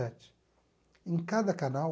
sete em cada canal...